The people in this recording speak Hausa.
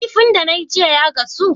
Kifin da nayi jiya ya gasu?